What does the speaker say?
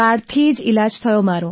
કાર્ડથી જ ઈલાજ થયો મારો